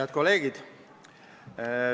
Head kolleegid!